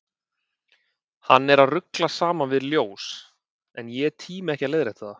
Hann er að rugla saman við ljós, en ég tími ekki að leiðrétta það.